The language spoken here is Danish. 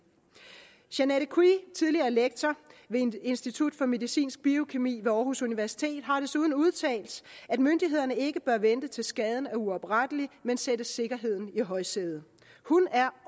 sianette kwee tidligere lektor ved institut for medicinsk biokemi ved aarhus universitet har desuden udtalt at myndighederne ikke bør vente til skaden er uoprettelig men sætte sikkerheden i højsædet hun er